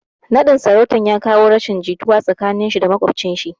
Naɗin sarautan ya kawo rashin jituwa tsakanin shi da maƙwabcin shi